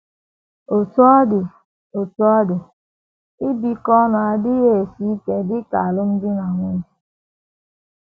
Otú ọ dị Otú ọ dị, ibikọ ọnụ adịghị esi ike dị ka alụmdi na nwunye.